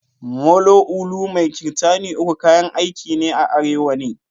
Molo, ulu mai kirtani uku kayan aiki ne a arewa ne.